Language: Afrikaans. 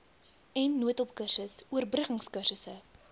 n noodhulpkursus oorbruggingkursusse